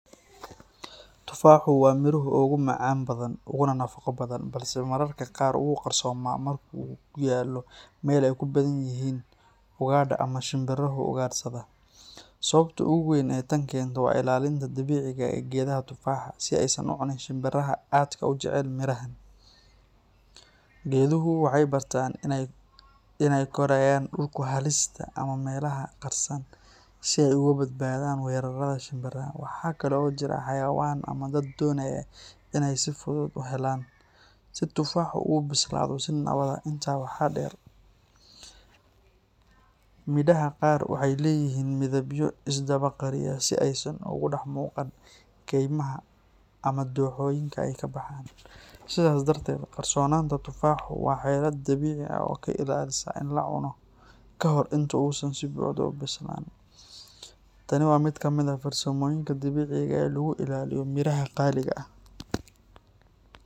Tufaaxu waa midhaha ugu maca badan uguna nafaqo badan, balse mararka qaar wuu qarsoomaa marka uu ku yaallo meel ay ku badan yihiin ugaadha ama shimbiraha ugaadhsada. Sababta ugu weyn ee tan keenta waa ilaalinta dabiiciga ah ee geedaha tufaaxa, si aysan u cunin shimbiraha aadka u jecel midhahaan. Geeduhu waxay bartaan in ay ku korayaan dhulka hoostiisa ama meelaha qarsan si ay uga badbaadaan weerarada shimbiraha. Waxa kale oo jira xayawaan ama dad doonaya in aanay si fudud u helin, si tufaaxu u bislaado si nabad ah. Intaa waxaa dheer, midhaha qaar waxay leeyihiin midabyo isdaba qariya si aysan uga dhex muuqan kaymaha ama dooxooyinka ay ka baxaan. Sidaas darteed, qarsoonaanta tufaaxu waa xeelad dabiici ah oo ka ilaalisa in la cuno ka hor inta uusan si buuxda u bislaan. Tani waa mid ka mid ah farsamooyinka dabiiciga ah ee lagu ilaaliyo midhaha qaaliga ah.